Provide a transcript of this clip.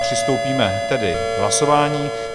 Přistoupíme tedy k hlasování.